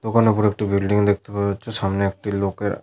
দোকানের ওপরে একটি বিল্ডিং দেখতে পাওয়া যাচ্ছে সামনে একটি লোকেরা--